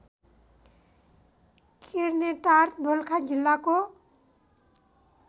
किर्नेटार दोलखा जिल्लाको